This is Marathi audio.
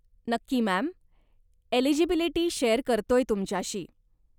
नक्की, मॅम! एलिजिबिलिटी शेअर करतोय तुमच्याशी.